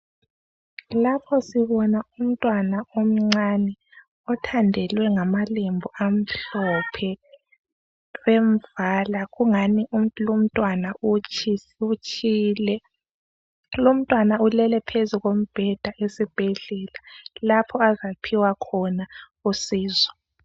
Lapho sibona umntwana omncane othandelwe ngamalembu amhlophe bemvala. kungani lumntwana utshile. Lumntwana ulele phezu kombheda esibhedlela lapho azaphiwa khona usizo.